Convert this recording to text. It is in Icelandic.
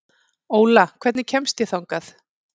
Óla, hvernig kemst ég þangað?